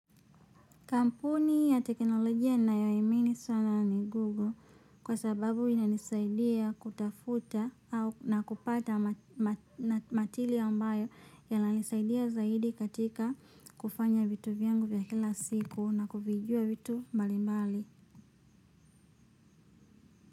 Kampuni ya teknolojia ninayo ii amini sana ni Google kwa sababu ina nisaidia kutafuta na kupata material ambayo ya nisaidia zaidi katika kufanya vitu vyangu vya kila siku na kuvijua vitu mbali mbali.